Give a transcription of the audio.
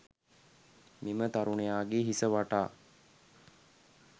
මෙම තරුණයාගේ හිස වටා